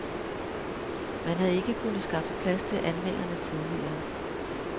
Man havde ikke kunnet skaffe plads til anmelderne tidligere.